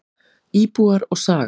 Íbúar og saga.